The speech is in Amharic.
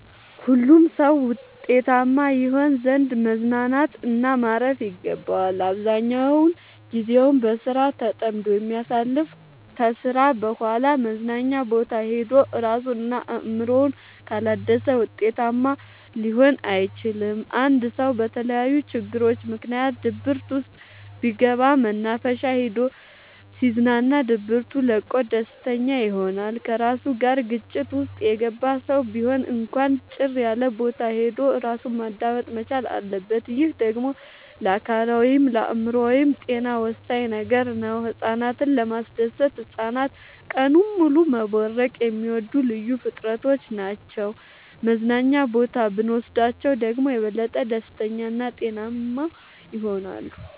ሁሉም ሰው ውጤታማ ይሆን ዘንድ መዝናናት እና ማረፍ ይገባዋል። አብዛኛውን ግዜውን በስራ ተጠምዶ የሚያሳልፍ ከስራ በኋላ መዝናኛ ቦታ ሄዶ እራሱን እና አእምሮውን ካላደሰ ውጤታማ ሊሆን አይችልም። አንድ ሰው በተለያዩ ችግሮች ምክንያት ድብርት ውስጥ ቢገባ መናፈሻ ሄዶ ሲዝናና ድብቱ ለቆት ደስተኛ ይሆናል። ከራሱ ጋር ግጭት ውስጥ የገባ ሰው ቢሆን እንኳን ጭር ያለቦታ ሄዶ እራሱን ማዳመጥ መቻል አለበት። ይህ ደግሞ ለአካላዊይም ለአእምሮአዊም ጤና ወሳኝ ነገር ነው። ህፃናትን ለማስደሰት ህፃናት ቀኑን ሙሉ መቦረቅ የሚወዱ ልዩ ፍጥረቶች ናቸው መዝናና ቦታ ብኖስዳቸው ደግሞ የበለጠ ደስተኛ እና ጤናማ ይሆናሉ።